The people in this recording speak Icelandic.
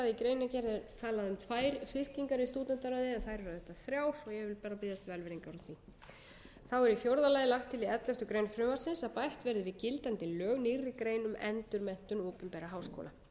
í greinargerð er talað um tvær fylkingar í stúdentaráði en þær eru auðvitað þrjár og ég vil bara biðjast velvirðingar á því þá er í fjórða lagi lagt til í elleftu greinar frumvarpsins að bætt verði við gildandi lög nýrri grein um endurmenntun opinberra háskóla